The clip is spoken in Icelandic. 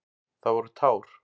Það voru tár.